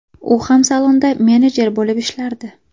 U ham salonda menedjer bo‘lib ishlardi.